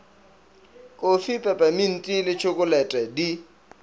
kofi pepeminti le tšhokolete di